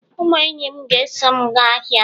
Ụmụ enyi m ga-eso m gaa ahịa